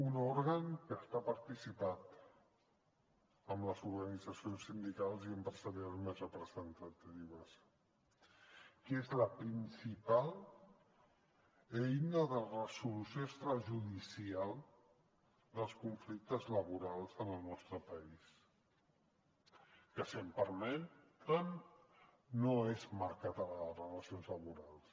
un òrgan que està participat per les organitzacions sindicals i empresarials més representatives que és la principal eina de resolució extrajudicial dels conflictes laborals en el nostre país que si em permeten no és marca de les relacions laborals